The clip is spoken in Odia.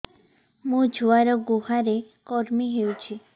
ମୋ ଛୁଆର୍ ଗୁହରେ କୁର୍ମି ହଉଚି